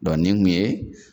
nin kun ye